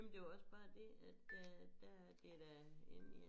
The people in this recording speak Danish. Men det var også bare det at der der det da inde i en